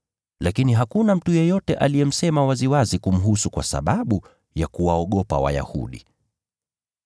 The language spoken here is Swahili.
Lakini hakuna mtu yeyote aliyemsema waziwazi kumhusu kwa sababu ya kuwaogopa Wayahudi.